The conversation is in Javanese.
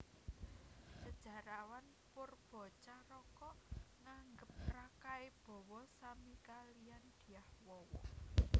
Sejarawan Poerbatjaraka nganggep Rakai Bawa sami kaliyan Dyah Wawa